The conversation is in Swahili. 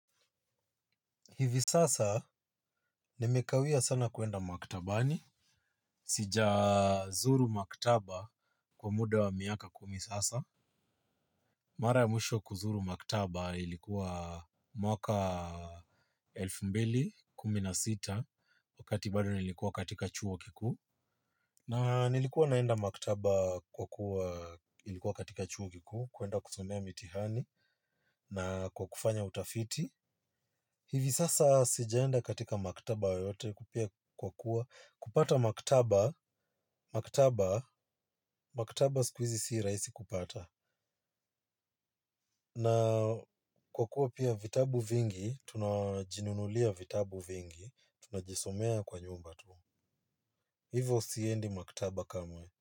Hivi sasa nimekawia sana kuenda maktabani. Sijazuru maktaba kwa muda wa miaka kumi sasa. Mara ya mwisho kuzuru maktaba ilikuwa mwaka elfumbili kumi na sita wakati bado nilikuwa katika chuo kikuu. Na nilikuwa naenda maktaba kwa kuwa ilikuwa katika chuo kikuu kuenda kusomea mitihani na kwa kufanya utafiti. Hivi sasa sijaenda katika maktaba yoyote pia kwa kuwa, kupata maktaba, maktaba, maktaba siku hizi si rahisi kupata. Na kwa kuwa pia vitabu vingi, tunajinunulia vitabu vingi, tunajisomea kwa nyumba tu. Hivo siendi maktaba kama.